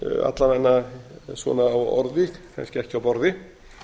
alla vega í orði kannski ekki á borði